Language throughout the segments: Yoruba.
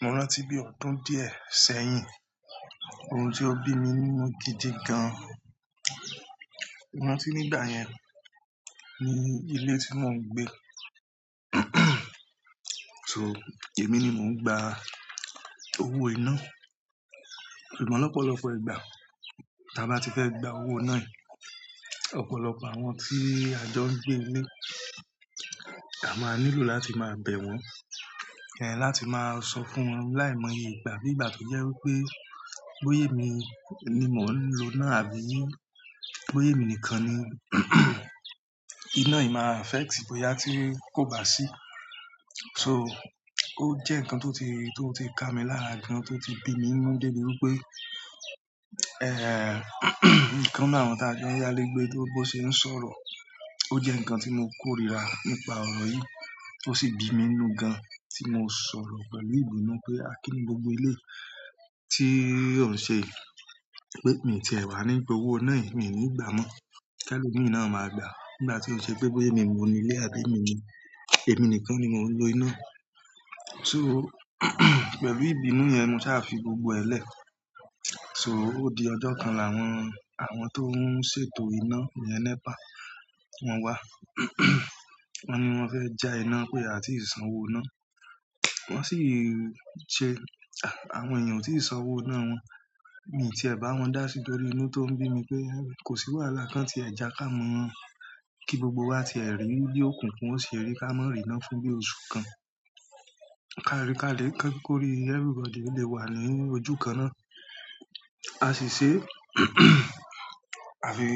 Mo rántí bí ọdún díẹ̀ sẹ́yìn, ohun ti ó bí mi nínú gidi gan. Mo rántí nígbà yẹn, ní ilé tí mò ń gbé, so èmi ni mò ń gba owó iná. Ṣùgbọ́n lọ́pọ̀lọpọ̀ ìgbà tí a bá ti fẹ́ gba owó iná yìí, ọ̀pọ̀lọpọ̀ àwọn tí a jọ ń gbé nílé, a máa nílò láti máa bẹ̀ wọ́n. Ẹ̀ láti máa sọ fún wọn láìmọye ìgbà bí ìgbà tó jẹ́ wí pé bóyé mi ni mò ń lo iná àbí bóya émi nìkan ni iná yìí máa affect bóyá tí kò bá sí. So ó jẹ́ nǹkan tó ti, tó ti ka mi lárà gan, tó ti bí mi inú de bi wí pé, ikan nini àwọn tá jọ yálégbé tó bó ṣe ń sọ̀rọ̀. Ó jẹ́ nǹkan tí mo kórìíra nípa ọ̀rọ̀ yìí, tó sì bí mi inú gan tí mò sọ̀rọ̀ pẹ̀lú ìbínú pé a kin ní gbogbo eleyi tí ó ń ṣe pé, mi ti ẹ̀ wá ní gba owó iná yìí, mi ní gbà mọ́. Kí ẹ̀lọ́ mi náà máa gbà? Nígbà tí ó ń ṣe pé bóya émi ni mò nílé àbí èmi ni, èmi nìkan ni mò ń lo iná. So pẹ̀lú ìbínú yẹn, mo sá fi gbogbo ẹ lẹ̀. So ó di ọjọ́ kan làwọn, àwọn tó ń ṣètò iná yẹn NEPA, wọ́n wá. Wọ́n ni wọ́n fẹ́ ja iná pé a tì san owó iná. Wọ́n sì ṣe, àwọn èèyàn ò tí ì san owó iná wọn, mi ti ẹ̀ bá wọn dá sí torí inú tó ń bí mi pé kò sí wàhálà kan tí ẹ já ká mọ́ kí gbogbo wa ti ẹ̀ rí bì òkùnkùn ó se rí ká mọ́ rí iná fún bí oṣù kan. Ká rí ká lè ko rí everybody lè wà ní ojú kan náà. A sì ṣe àfi,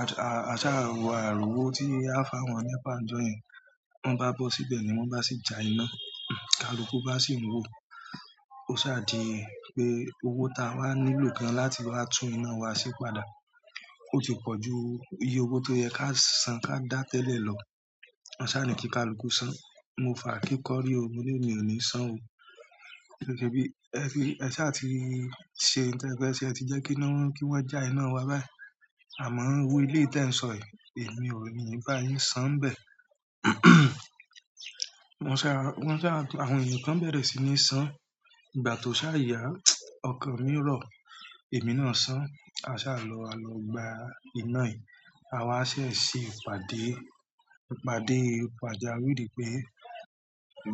a ṣà wọ àri òwó tí a fá àwọn nepa n jọ́ yẹn. Wọ́n bá bọ́ síbẹ̀ ni wọ́n bá sì ja iná. Kaluku bá sì ń wò. Ó sa dí pé owó ta wá nílò gan láti wá tún iná wa ṣe padà. O ti pọ ju iye owo to ye ka san ka da tẹlẹ lọ. A sá ni kí kaluku san. Mo fa ake kọ́rí o mò ní emi o ni san o. Gẹ́gẹ́ bí ẹ ti, ẹ sá ti ṣe nǹkan pé ṣe ẹ ti jẹ́ kí wọ́n, kí wọ́n ja iná wa báyìí. Àmọ́ owó eléyi tí ẹ̀ ń sọ yìí, èmi ò ní bá yín san bẹ̀. Wọ́n sá, wọ́n sá, àwọn ènìyàn kan bẹ̀rẹ̀ sí ní san. Ìgbà tó ṣá yá ọkan mi rọ̀, èmi náà san. A sá lọ, a lọ gba iná yìí. A wá ṣẹ̀ ṣe ìpàdé, ìpàdé, ìpàdé a rí di pé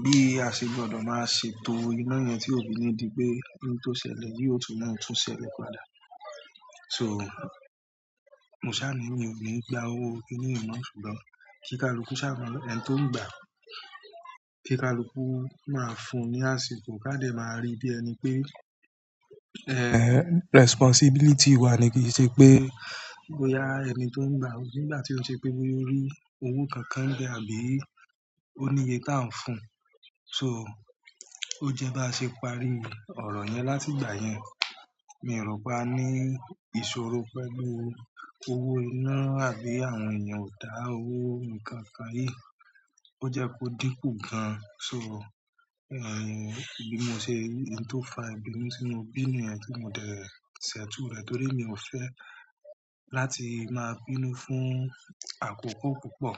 bí a ṣe gbọdọ̀ máa ṣètò iná yẹn tí òfí ni di pé ohun tó ṣẹlẹ̀ bí ó tún máa ń tún ṣẹlẹ̀ padà. So mo sá ni mi ò ní gba owó kini yi mọ́. Ṣùgbọ́n kí kaluku sá mọ́ ẹni tó ń gbà, kí kaluku máa fún un ní àsìkò ká dẹ̀ máa rí bí ẹni pé, responsibility wa ni kì í ṣe pé bóyá ẹni tó ń gbà owó nígbà tí ó ń ṣe pé bóya orí owó kankan n bẹ ó ní iye tá ń fún un. So ó jẹ́ bá ṣe parí ọ̀rọ̀ yẹn láti ìgbà yẹn, mi ò ro pa á ní ìṣòro pẹ̀lú owó iná àbí àwọn èèyàn ò dá owó nǹkan nkán rìí. Ó jẹ́ kó dínkù gan. So bí mo ṣe rí nǹkan tó fa ìbínú timo bí niyẹn tí mò dẹ̀ẹ́ ṣètù rẹ̀ torí mi ò fẹ́ láti máa bínú fún àkókò púpọ̀.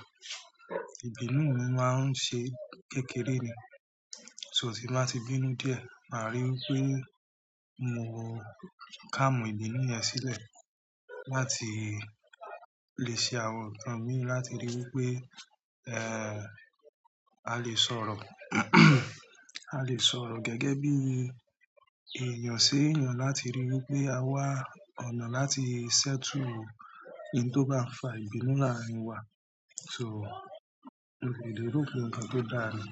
Ìbínú mi máa ń ṣe kékeré ni. So tí màá ti bínú díẹ̀, màá ríi wí pé mò kà mọ́ ìbínú yẹn sílẹ̀ láti lè ṣe àwọ̀ kan mí láti ríi wí pé, a lè sọ̀rọ̀, a lè sọ̀rọ̀ gẹ́gẹ́ bí èèyàn sí èèyàn láti ríi wí pé a wà ọ̀nà láti settle ohun tí ó bá ń fa ìbínú láàrin wa. So emi ro pe nkan to da ni.